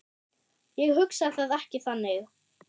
Ég hugsa það ekki þannig.